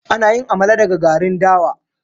Ana yin Amala daga garin dawa.